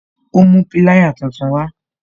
Ó mú pilaya tuntun wa